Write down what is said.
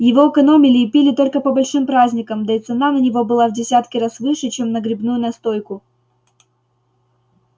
его экономили и пили только по большим праздникам да и цена на него была в десятки раз выше чем на грибную настойку